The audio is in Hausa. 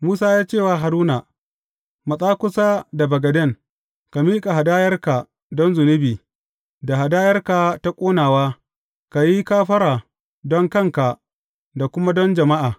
Musa ya ce wa Haruna, Matsa kusa da bagaden, ka miƙa hadayarka don zunubi, da hadayarka ta ƙonawa, ka yi kafara don kanka da kuma don jama’a.